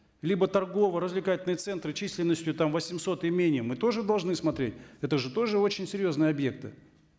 либо торгово развлекательные центры численностью там восемьсот и менее мы тоже должны смотреть это же тоже очень серьезные объекты